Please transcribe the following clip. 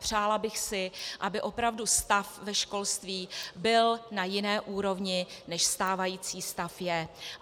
Přála bych si, aby opravdu stav ve školství byl na jiné úrovni, než stávající stav je.